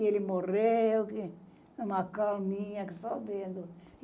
E ele morreu, que uma calminha que só vendo.